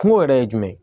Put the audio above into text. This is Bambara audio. Kungo yɛrɛ ye jumɛn ye